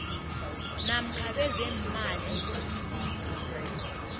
namkha bezeemali bomlingani